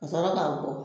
Ka sɔrɔ k'a bɔ